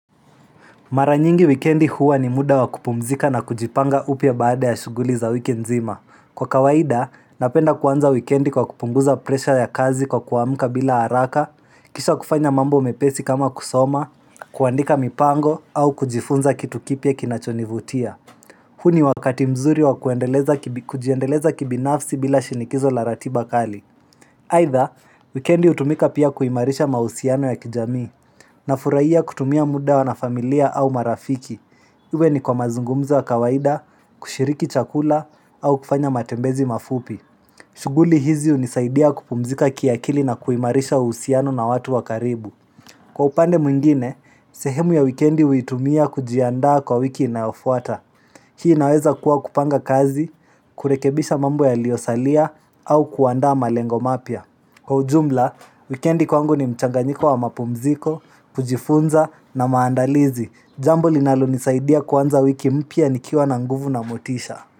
Mara nyingi wikendi huwa ni muda wa kupumzika na kujipanga upya baada ya shughuli za wiki nzima. Kwa kawaida, napenda kuanza wikendi kwa kupunguza presha ya kazi kwa kuamuka bila haraka, kisha kufanya mambo mepesi kama kusoma, kuandika mipango, au kujifunza kitu kipya kinachonivutia. Huu ni wakati mzuri wa kujiendeleza kibinafsi bila shinikizo la ratiba kali. Haidha, wikendi utumika pia kuimarisha mausiano ya kijamii. Na furahia kutumia muda wa na familia au marafiki. Iwe ni kwa mazungumzo wa kawaida, kushiriki chakula, au kufanya matembezi mafupi. Shughuli hizi unisaidia kupumzika kiakili na kuimarisha uhusiano na watu wa karibu. Kwa upande mwingine, sehemu ya wikendi uitumia kujiandaa kwa wiki inayofuata. Hii inaweza kuwa kupanga kazi, kurekebisha mambo yaliyo salia, au kuandaa malengo mapya. Kwa ujumla, weekendi kwangu ni mchanganyiko wa mapumziko, kujifunza na maandalizi. Jambo linalo nisaidia kuanza wiki mpya nikiwa na nguvu na motisha.